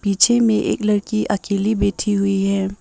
पीछे में एक लड़की अकेली बैठी हुई है।